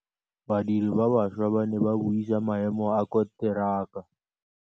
Badiri ba baša ba ne ba buisa maêmô a konteraka.